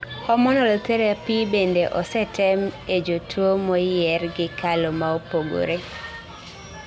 hormonal therapy bende osetem e jotuwo moyier gi kalo maopogre